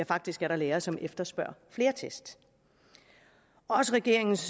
faktisk er der lærere som efterspørger flere test også regeringens